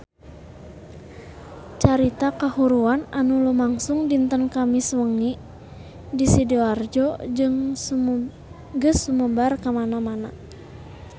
Carita kahuruan anu lumangsung dinten Kemis wengi di Sidoarjo geus sumebar kamana-mana